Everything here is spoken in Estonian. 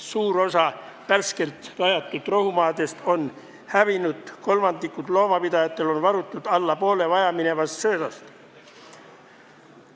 Suur osa värskelt rajatud rohumaadest on hävinud, kolmandikul loomapidajatel on varutud alla poole vajaminevast söödast.